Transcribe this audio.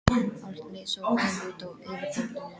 Allt leit svo vel út á yfirborðinu.